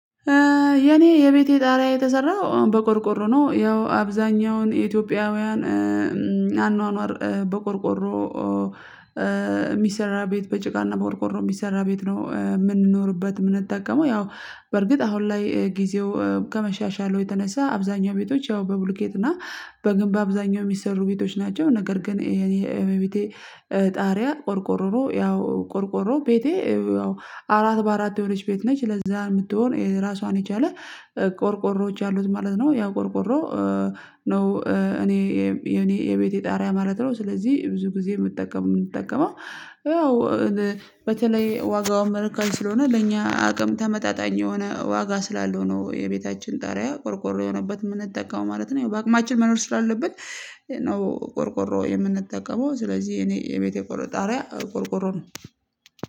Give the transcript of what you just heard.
የኔ የቤቴ ጣሪያ የተሰራው በቆርቆሮ ነው ያው አብዛኛውን የኢትዮጵያውያን አኗኗር በቆርቆሮ ሚሰራ ቤት በጭቃና በቆርቆሮ ሚሰራ ቤት ነው። ምንኖርበት ምንጠቀመው ያው በርግጥ አሁን ላይ ጊዜው ከመሻሻሉ የተነሳ አብዛኛው ቤቶች ያው በብሎኬት እና በግንብ በአብዛኛው ሚሰሩ ቤቶች ናቸው። ነገር ግን ይሄ የቤቴ ጣሪያ ቆርቆሮ ነው። ያው ቆርቆሮ ቤቴ ያው አራት በአራት የሆነች ቤት ነች ለዛ ምትሆን ራሷን የቻለ ቆርቆሮዎች ያሉት ማለት ነው። ያው ቆርቆሮ ነው እኔ የኔ የቤቴ ጣሪያ ማለት ነው። ስለዚህ ብዙ ጊዜ ምጠቀመው ምጠቀመው ያው በተለይ ዋጋውን መልካም ስለሆነ ለእኛ አቅም ተመጣጣኝ የሆነ ዋጋ ስላለው ነው የቤታችን ጣሪያ ቆርቆሮ የሆነበት ምንጠቀመው ማለት ነው። ያው በአቅማችን መኖር ስላለብን ነው ቆርቆሮ የምንጠቀመው ስለዚህ እኔ የቤቴ ጣሪያ ቆርቆሮ ነው።